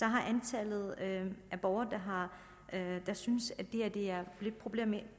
har antallet af borgere der synes at det her er problematisk